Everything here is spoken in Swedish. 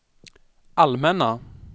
allmänna